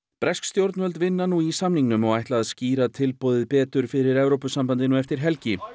bresk stjórnvöld vinna nú í samningnum og ætla að skýra tilboðið betur fyrir Evrópusambandinu eftir helgi